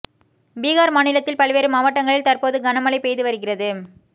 பீகார் மாநிலத்தில் பல்வேறு மாவட்டங்களில் தற்போது கனமழை பெய்து வருகிறது